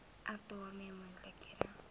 ek daarmee moontlike